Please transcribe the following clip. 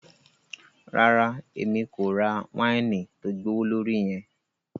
Rara, Èmí ko rà waini tó gbowolori yẹn